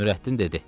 Nürəddin dedi: